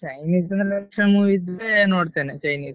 Chinese movie ಇದ್ರೆ ನೋಡ್ತೇನೆ chinese .